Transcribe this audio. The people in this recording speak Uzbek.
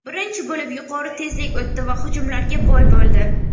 Birinchi bo‘lim yuqori tezlik o‘tdi va hujumlarga boy bo‘ldi.